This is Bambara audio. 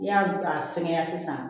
N'i y'a a fɛngɛ sisan